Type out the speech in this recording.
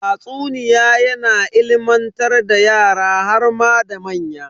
Tatsuniya yana ilimantar da yara harma da manya.